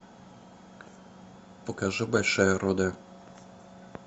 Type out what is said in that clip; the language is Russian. покажи большая руда